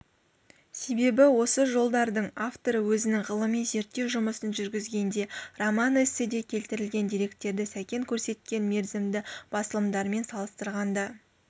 себебі осы жолдардың авторы өзінің ғылыми-зерттеу жұмысын жүргізгенде роман-эсседе келтірілген деректерді сәкен көрсеткен мерзімді басылымдармен салыстырғанда